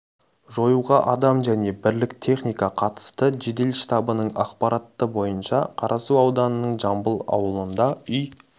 жоюға адам және бірлік техника қатысты жедел штабының ақпараты бойынша қарасу ауданының жамбыл ауылында үй